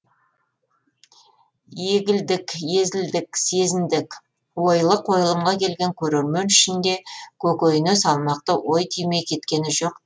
егілдік езілдік сезіндік ойлы қойылымға келген көрермен ішінде көкейіне салмақты ой түймей кеткені жоқ